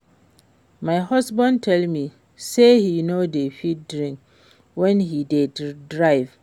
My husband tell me say he no dey fit drink wen he dey drive